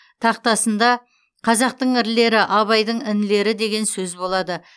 тақтасында қазақтың ірілері абайдың інілері деген сөз болады